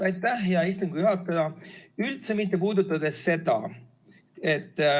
Aitäh, hea istungi juhataja!